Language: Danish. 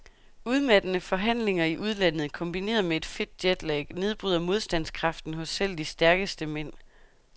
Udmattende forhandlinger i udlandet kombineret med et fedt jetlag nedbryder modstandskraften hos selv de stærkeste mænd.